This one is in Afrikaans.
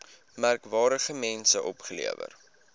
merkwaardige mense opgelewer